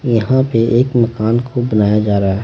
यहां पे एक मकान को बनाया जा रहा है।